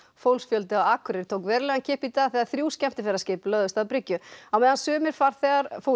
fólksfjöldi á Akureyri tók verulegan kipp í dag þegar þrjú skemmtiferðaskip lögðust að bryggju á meðan sumir farþegar fóru í